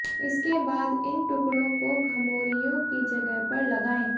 इसके बाद इन टुकड़ों को घमौरियों की जगह पर लगाएं